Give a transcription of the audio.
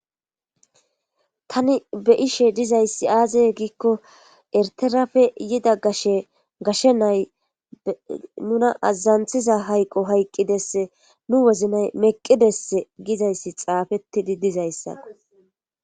tani be'she dizayssi aaze giikko erterafe yida gashe gashe nay nuna aazanthiza hayqo hayqqidesse nu woznay meqqidess gizayssi xaafettidi dizayssako